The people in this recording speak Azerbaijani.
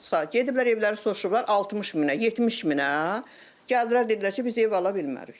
Gediblər evləri soruşurlar 60000-ə, 70000-ə, gəldilər dedilər ki, biz ev ala bilmərik.